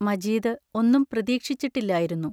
മജീദ് ഒന്നും പ്രതീക്ഷിച്ചിട്ടില്ലായിരുന്നു.